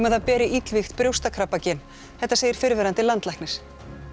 að það beri illvígt brjóstakrabbagen þetta segir fyrrverandi landlæknir